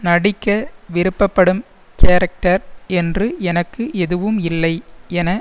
நடிக்க விருப்பப்படும் கேரக்டர் என்று எனக்கு எதுவும் இல்லை என